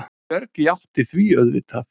Björg játti því auðvitað.